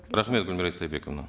рахмет гүлмира истайбековна